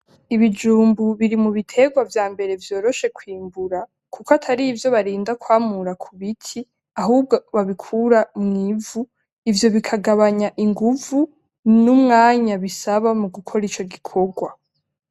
Ibijumbu biri mu biterwa vyambere vyoroshe kwimbura, kuko atarivyo barinda kwamura ku biti, ahubwo babikuru mw'ivu. Ivyo bikagabanya inguvu n'umwanya bisaba mu gukora ico gikorwa.